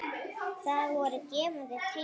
Það voru gefandi tengsl.